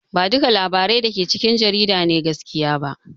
Ba duka labarai dake cikin jarida ne gaskiya ba